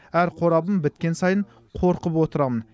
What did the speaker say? әр қорабым біткен сайын қорқып отырамын